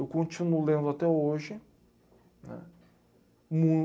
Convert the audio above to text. Eu continuo lendo até hoje.